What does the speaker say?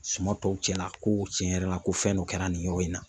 Suma tɔw cɛla ko cɛn yɛrɛ la, ko fɛn dɔ kɛra nin yɔrɔ in na.